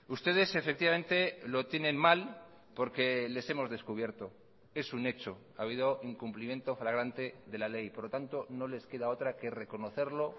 ustedes efectivamente lo tienen mal porque les hemos descubierto es un hecho ha habido incumplimiento fragrante de la ley por lo tanto no les queda otra que reconocerlo